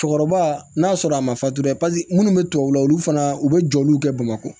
Cɛkɔrɔba n'a sɔrɔ a ma fatura paseke munnu bɛ tubabu la olu fana u bɛ jɔliw kɛ bamakɔ